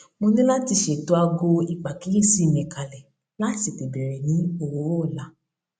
mo ní láti ṣètò aago ìpàkíyèsí mi kalè láti tètè bẹrẹ ní òwúrò ọla